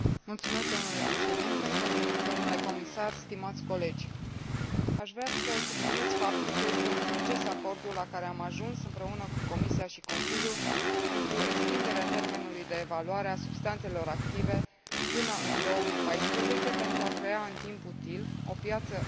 Aș vrea să subliniez faptul că este un succes acordul la care am ajuns împreună cu Comisia și Consiliul pentru extinderea termenului de evaluare a substanțelor active până în 2014, pentru a crea în timp util o piață reglementată a produselor biodistructive.